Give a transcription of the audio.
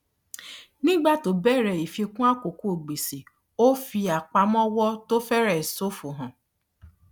nígbà tó béèrè ìfikún àkókò gbèsè ó fi apamọwọ tó fẹrẹ ṣofo hàn